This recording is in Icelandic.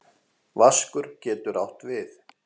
Vaskur getur átt við